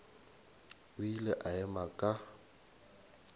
o ile a ema ka